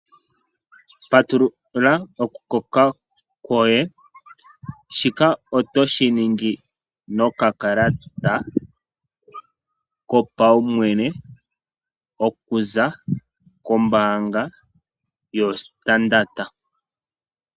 Patulula okukoka kwoye. Shika oto shi ningi nokakalata kopaumwene okuza kombaanga yoStandard.